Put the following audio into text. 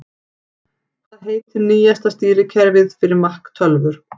Hvað heitir nýjasta stýrikerfið fyrir Mac tölvur?